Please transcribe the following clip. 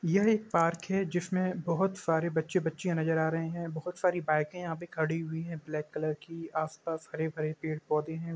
यह एक पार्क है जिसमें बहोत सारे बच्चे बच्चियां नजर आ रहे हैं। बहोत सारी बाइकें यहां पे खड़ी हुई हैं ब्लैक कलर की। आसपास हरे भरे पेड़ पौधे हैं।